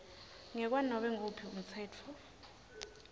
ngekwanobe nguwuphi umtsetfo